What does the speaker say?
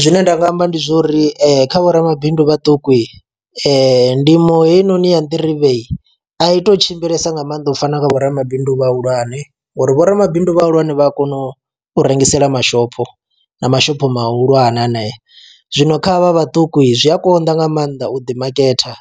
Zwine nda nga amba ndi zwori kha vho ramabindu vhaṱuku i ndimo heinoni ya nḓirivhe i to tshimbilesa nga mannḓa u fana na vho ramabindu vha hulwane, ngori vho ramabindu vha hulwane vha a kona u rengisela mashopho na mashopho mahulwane aneya, zwino kha havha vhaṱuku zwi a konḓa nga maanḓa u ḓi maketa